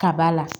Ka ba la